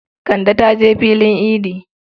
Kande ta je filin idi.